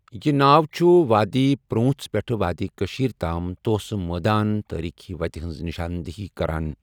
یہِ ناو چھُ وادی پر٘وُنژھ پٮ۪ٹھہٕ وادی کٔشٖیرِ تام توسہٕ مٲدانٕ تٲریٖخی وتہِ ہِنٛز نِشاندِہی کران۔